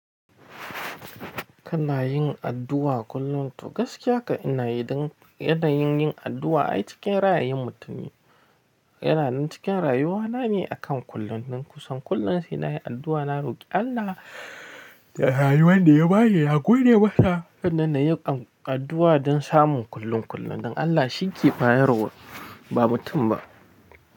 Kana yin addu'a kullum to gaskiya ka ina yi don yanayin yin addu'a ai cikin ra'ayin mutum yana nan cikin rayuwana ne akan kullum. Kusan kullum sai na yi addu'a, na roki Allah da rayuwar da ya ba ni na gode masa. Hannan na yi addu'a don samun kullum kullum. Don Allah shi ke bayarwa ba mutum ba.